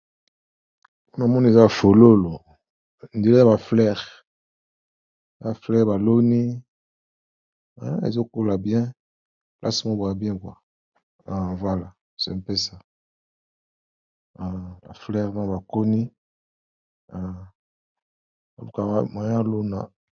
Namoni eza fololo on dirait ba fleur baloni ezokola bien place moko ya bien abengwa ala c'est un ça, fleur na bakoni .